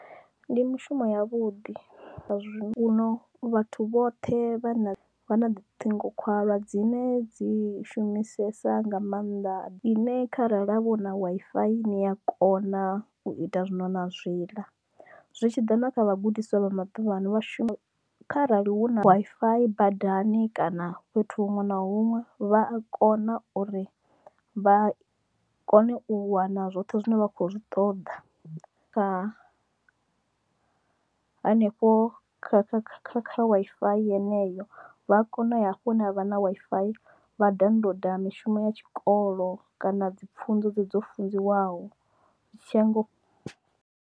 Ndi mushumo ya vhuḓi u no vhathu vhoṱhe vha vha na lutingo khwalwa dzine dzi shumisesa nga maanḓa ine kharali vho na Wi-Fi ni ya kona u ita zwino na zwiḽa zwi tshiḓa na kha vhagudiswa vha maḓuvhano vhashumi arali hu na Wi-Fi badani kana fhethu huṅwe na huṅwe vha a kona uri vha kone u wana zwoṱhe zwine vha khou zwi ṱoḓa kha hanefho kha Wi-Fi yeneyo vha a kona u ya hafho na ha vha na Wi-Fi vha download mishumo ya tshikolo kana dzi pfunzo dze dzi dzo funziwaho.